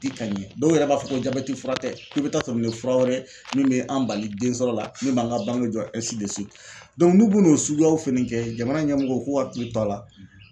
di ka ɲɛ dɔw yɛrɛ b'a fɔ ko jabɛti fura tɛ k'i bɛ taa sɔrɔ nin ye fura wɛrɛ min bɛ an bali den sɔrɔ la min b'an ka bange jɔ n'u bun'o suguyaw fɛnɛ kɛ jamana ɲɛmɔgɔw u k'u hakili to a la.